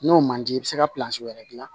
N'o man di i bɛ se ka wɛrɛ gilan